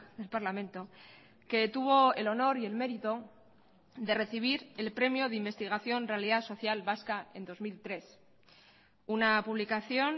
del parlamento que tuvo el honor y el mérito de recibir el premio de investigación realidad social vasca en dos mil tres una publicación